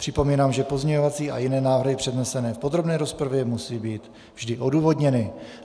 Připomínám, že pozměňovací a jiné návrhy přednesené v podrobné rozpravě musí být vždy odůvodněny.